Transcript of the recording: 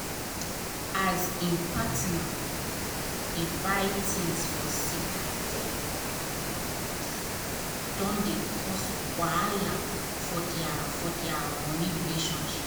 as him partner dey buy things for secrete don dey cause wahala for dia for dia money relationship.